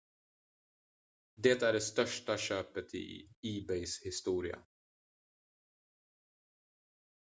det är det största köpet i ebays historia